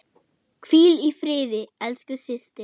Hvíl í friði elsku systir.